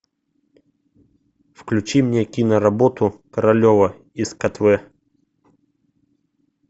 включи мне киноработу королева из катве